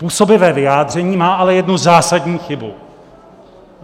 Působivé vyjádření, má ale jednu zásadní chybu.